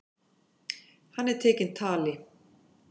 Hann er tekinn tali.